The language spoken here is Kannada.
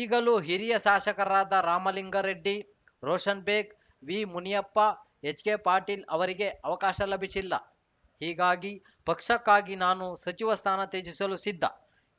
ಈಗಲೂ ಹಿರಿಯ ಶಾಸಕರಾದ ರಾಮಲಿಂಗಾರೆಡ್ಡಿ ರೋಷನ್‌ಬೇಗ್‌ ವಿ ಮುನಿಯಪ್ಪ ಎಚ್‌ಕೆ ಪಾಟಿಲ್‌ ಅವರಿಗೆ ಅವಕಾಶ ಲಭಿಸಿಲ್ಲ ಹೀಗಾಗಿ ಪಕ್ಷಕ್ಕಾಗಿ ನಾನು ಸಚಿವ ಸ್ಥಾನ ತ್ಯಜಿಸಲು ಸಿದ್ಧ